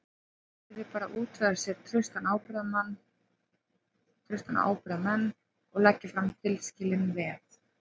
Hann yrði bara að útvega sér trausta ábyrgðarmenn og leggja fram tilskilin veð.